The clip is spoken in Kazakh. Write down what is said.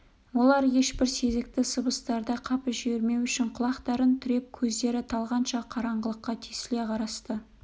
олар ешбір сезікті сыбыстарды қапы жібермеу үшін құлақтарын түріп көздері талғанша қараңғылыққа тесіле қарасты